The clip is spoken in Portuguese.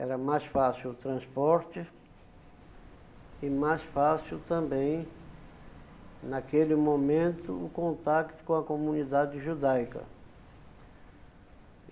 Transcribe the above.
Era mais fácil o transporte, e mais fácil também, naquele momento, o contato com a comunidade judaica.